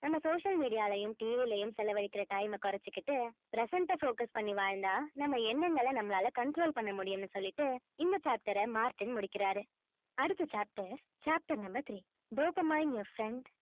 நம்ம social media லயும் TV லயும் செலவழிக்கிற time அ குறைச்சுக்கிட்டு present அ focus பண்ணி வாழ்ந்தா நம்ம எண்ணங்களை நம்மளால control பண்ண முடியும்ன்னு சொல்லிட்டு இந்த chapter அ மார்ட்டின் முடிக்கிறாரு அடுத்த chapter chapter number three dopamine your friend